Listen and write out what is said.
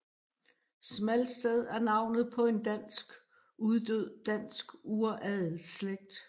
Smalsted er navnet på en dansk uddød dansk uradelsslægt